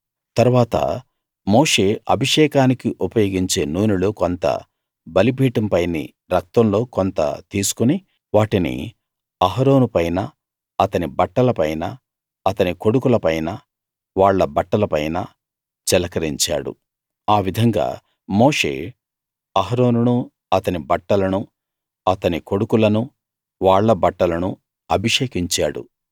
తరువాత మోషే అభిషేకానికి ఉపయోగించే నూనెలో కొంత బలిపీఠం పైని రక్తంలో కొంత తీసుకుని వాటిని అహరోను పైనా అతని బట్టల పైనా అతని కొడుకుల పైనా వాళ్ళ బట్టల పైనా చిలకరించాడు ఆ విధంగా మోషే అహరోనునూ అతని బట్టలనూ అతని కొడుకులనూ వాళ్ళ బట్టలనూ అభిషేకించాడు